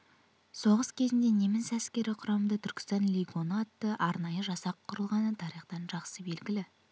соғыс кезінде неміс әскері құрамында түркістан легионы атты арнайы жасақ құрылғаны тарихтан жақсы белігілі